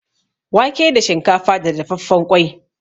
Wake da shinkafa da dafaffen ƙwai.